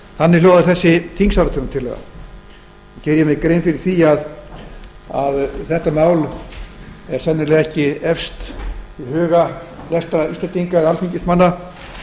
þannig hljóðar þessi þingsályktunartillaga ég geri mér grein fyrir því að þetta mál er sennilega ekki efst í huga flestra íslendinga eða alþingismanna